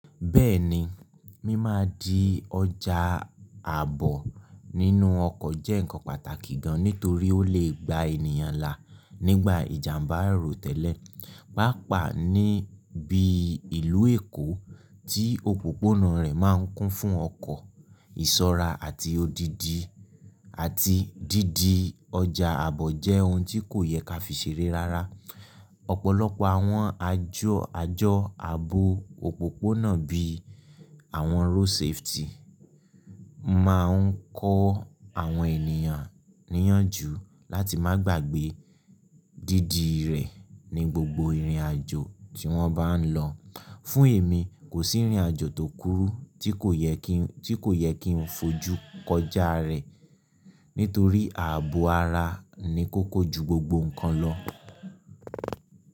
Bẹ́ẹ̀ni, mí máa di ọjà àbò nínú ọkọ̀ jẹ́ ǹkan pàtàkì gan nítorí ó lè gba ènìyàn là nígbà ìjàmbá àìrò tẹ́lẹ̀. Páapàá ní bíi ìlú Èkó tí òpópónà rẹ̀ máa ń kún fún ọkọ̀, ìṣọ́ra àti odidi àti didi ọjà àbọ̀ jẹ́ ohun tí kò yẹ ká fi ṣeré rárá. Ọ̀pọ̀lọpọ̀ àwọn àjọ, àjọ́ ààbò òpópónà bí i àwọn road safety máa ń kọ́ àwọn ènìyàn níyànjú láti má gbàgbé didi rẹ̀ ní gbogbo ìrìnàjò tí wọ́n bá ń lọ. Fún èmi, kò sírìnàjò tó kúrú tí kò yẹ kí n, tí kò yẹ kí n fojú kọjá rẹ̀, nítorí ààbò ara ni kókó ju gbogbo nǹkan lọ.